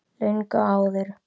Löngu áður.